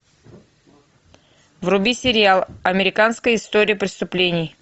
вруби сериал американская история преступлений